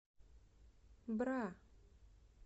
бра